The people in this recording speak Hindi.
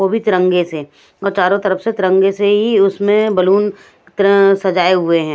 वो भी तिरंगे से और चारों तरफ से तिरंगे से ही उसमें बलून एक तरह सजाए हुए हैं।